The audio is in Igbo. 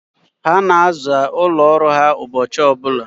Ha na-aza ụlọ ọrụ ha ụbọchị ọbụla.